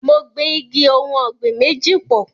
Mo gbin igi ohùn ọ̀gbìn méjì pọ̀.